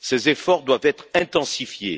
Ces efforts doivent être intensifiés.